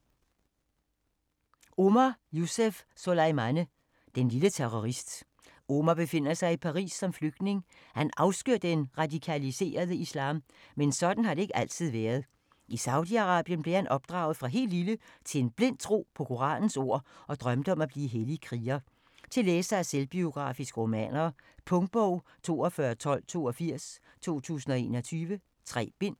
Souleimane, Omar Youssef: Den lille terrorist Omar befinder sig i Paris, som flygtning. Han afskyr den radikaliserede islam, men sådan har det ikke altid været. I Saudi-Arabien blev han opdraget, fra helt lille, til en blind tro på koranens ord og drømte om at blive hellig kriger. Til læsere af selvbiografiske romaner. Punktbog 421282 2021. 3 bind.